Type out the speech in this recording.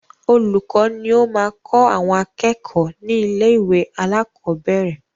Olùkọ́ ni ó máa kọ àwọn akẹ́kọ̀ọ́ ni ilé ìwé alakọ̀bẹ́ẹ́rẹ̀